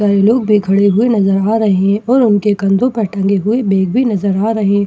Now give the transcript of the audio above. सारे लोग भी खड़े हुए भी नज़र आ रहे हैं और उनके कंधों पर टंगे हुए बैग भी नज़र आ रहे --